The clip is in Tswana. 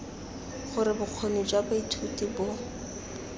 gore bokgoni jwa baithuti bo